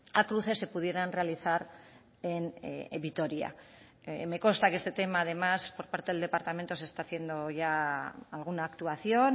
a cruces se pudieran realizar en vitoria me consta que este tema además por parte del departamento se está haciendo ya alguna actuación